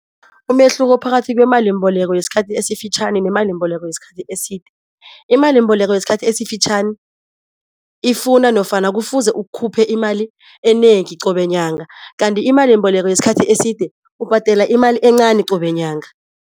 Umehluko phakathi kwemalimbeleko yesikhathi esifitjhani nemalimbeleko yesikhathi eside, imalimbeleko yesikhathi esifitjhani ifuna nofana kufuze ukhuphe imali enengi qobe nyanga kandi imalimbeleko yesikhathi eside, ubhadela imali encani qobe nyanga.